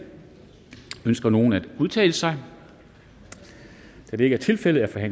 ønsker nogen at udtale sig da det ikke er tilfældet er